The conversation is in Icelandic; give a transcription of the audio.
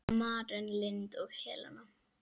Maren Lind og Helena.